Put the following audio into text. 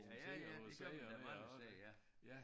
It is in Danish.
Ja ja det gør man da mange steder ja